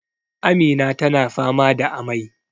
Amina tana fama da amai